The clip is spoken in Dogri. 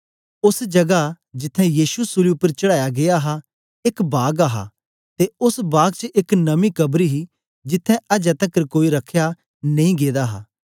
ओस जगा जिथें यीशु सूली उपर चढ़ाया गीया हा एक बाग हा ते ओस बाग च एक नमी कब्र ही जिथें अजें तकर कोई रख्या नेई गेदा हा